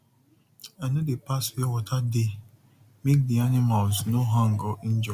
i no dey pass where water dey make d animals no hang or injure